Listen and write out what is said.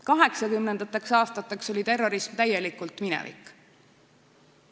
Kaheksakümnendateks aastateks oli terrorism täielikult minevik.